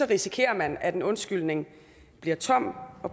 risikerer man at en undskyldning bliver tom og